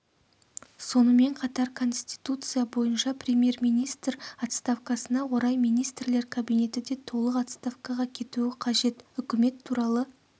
сонымен қатар конституция бойынша премьер-министр отставкасына орай министрлер кабинеті де толық отставкаға кетуі қажет үкімет туралы